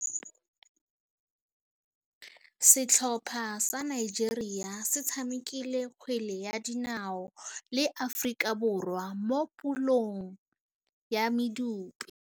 Setlhopha sa Nigeria se tshamekile kgwele ya dinaô le Aforika Borwa mo puleng ya medupe.